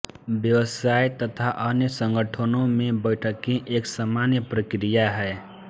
व्यवसाय तथा अन्य संगठनों में बैठकें एक सामान्य प्रक्रिया है